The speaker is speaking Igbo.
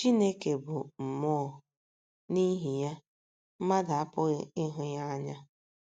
“ Chineke bụ Mmụọ, ” n’ihi ya, mmadụ apụghị ịhụ ya anya.